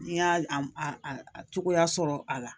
N y'a cogoya sɔrɔ a la